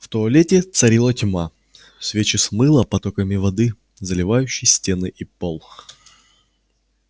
в туалете царила тьма свечи смыло потоками воды заливающей стены и пол